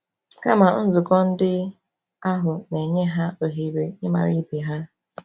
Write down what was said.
Kama, nzukọ ndị ahụ na-enye ha ohere ịmara ibe ha.